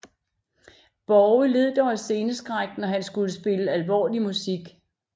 Borge led dog af sceneskræk når han skulle spille alvorlig musik